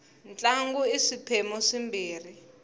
ntlangu i swiphemu swimbirhi